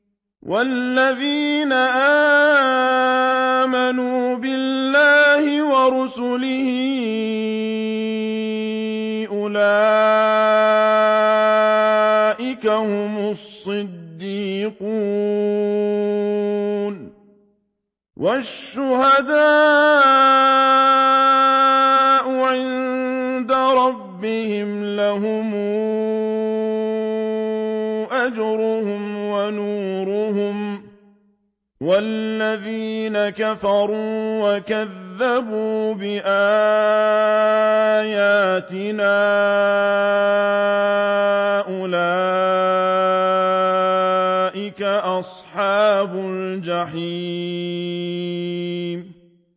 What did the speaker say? وَالَّذِينَ آمَنُوا بِاللَّهِ وَرُسُلِهِ أُولَٰئِكَ هُمُ الصِّدِّيقُونَ ۖ وَالشُّهَدَاءُ عِندَ رَبِّهِمْ لَهُمْ أَجْرُهُمْ وَنُورُهُمْ ۖ وَالَّذِينَ كَفَرُوا وَكَذَّبُوا بِآيَاتِنَا أُولَٰئِكَ أَصْحَابُ الْجَحِيمِ